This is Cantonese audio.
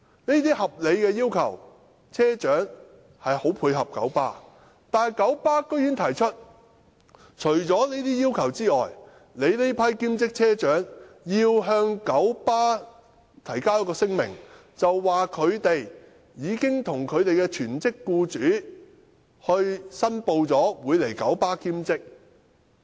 車長積極配合九巴這些合理要求，但九巴竟然提出，除這些要求外，兼職車長須向九巴提交一份聲明，表明他們已向其全職僱主申報在九巴的兼職工作。